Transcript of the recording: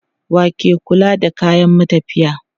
Wa ke kula da kayan matafiya?